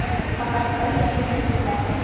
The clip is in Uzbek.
Faqat bir kishi tirik qolgan.